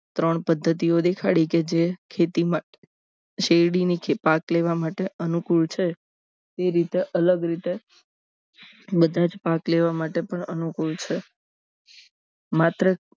ત્રણ પદ્ધતિઓ દેખાડી કે જે ખેતીમાં શેરડી નીચે પાક લેવા માટે અનુકૂળ છે એ રીતે અલગ રીતે બધા પાક લેવા માટે પણ અનુકૂળ છે માત્ર